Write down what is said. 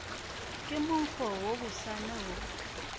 ke monkgo wo bosana wo